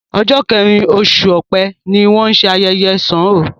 Ọ̀jọ̀ kẹrin oṣù Ọ̀pẹ ni wọ́n ṣé ayẹyẹ ṣàn ó